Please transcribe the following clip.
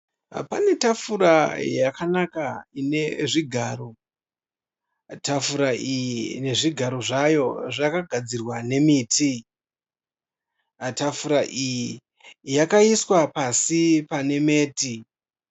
Pane tafura yakanaka ine zvigaro, tafura iyi nezvigaro zvayo zvakagadzirwa nemiti. Tafura iyi yakaiswa pasi pane meti.